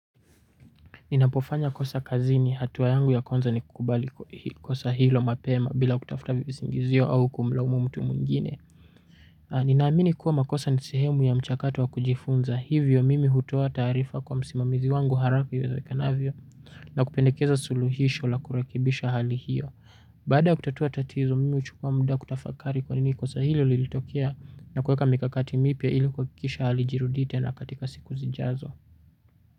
Ninapofanya kosa kazini hatua yangu ya kwanza ni kukubali kosa hilo mapema bila kutafuta visingizio au kumlaumu mtu mungine. Ninaamini kuwa makosa ni sehemu ya mchakato wa kujifunza hivyo mimi hutowa tarifa kwa msimamizi wangu harafiuwezokanavyo na kupendekeza suluhisho la kurekibisha hali hiyo. Bada kutatua tatizo mimi uchukua muda kutafakari kwanini kosa hilo lilitokea na kueka mikakati mipia ili kukikisha halijirudi tena katika siku zijazo.